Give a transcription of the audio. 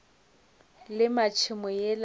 lema tšhemo yela yešo ka